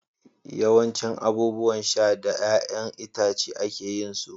yawancin abubuwan sha daga 'ya'yan itace ake yin su